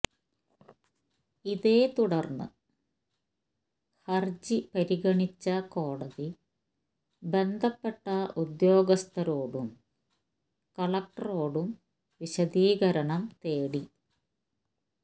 ഇതേ തുടര്ന്ന് ഹര്ജി പരിഗണിച്ച കോടതി ബന്ധപ്പെട്ട ഉദ്യോഗസ്ഥരോടും കലക്ടറോടും വിശദീകരണം തേടി